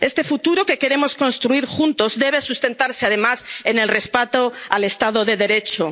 social. Este futuro que queremos construir juntos debe sustentarse, además, en el respeto al Estado